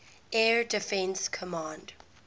air defense command